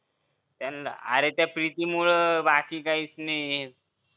त्यांना अरे त्या प्रीतीमुळं बाकी काहीच नाही